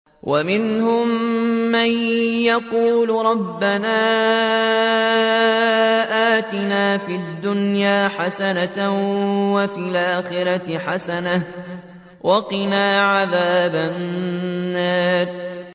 وَمِنْهُم مَّن يَقُولُ رَبَّنَا آتِنَا فِي الدُّنْيَا حَسَنَةً وَفِي الْآخِرَةِ حَسَنَةً وَقِنَا عَذَابَ النَّارِ